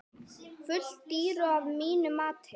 Full dýru að mínu mati.